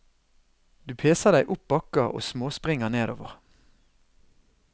Du peser deg opp bakker og småspringer nedover.